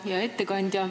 Hea ettekandja!